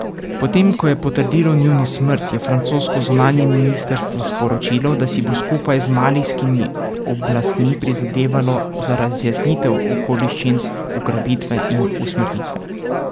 Potem ko je potrdilo njuno smrt, je francosko zunanje ministrstvo sporočilo, da si bo skupaj z malijskimi oblastmi prizadevalo za razjasnitev okoliščin ugrabitve in usmrtitve.